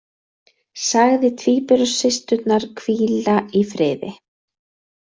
Sagði tvíburasysturnar hvíla í friði